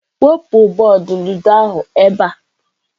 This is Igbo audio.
Wepụ bọọdụ ludo ahụ n'ebe a!.